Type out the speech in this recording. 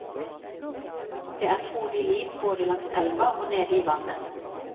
Det er frodig liv både langs elva og nede i vannet.